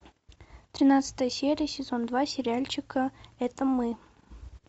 тринадцатая серия сезон два сериальчика это мы